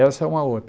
Essa é uma outra.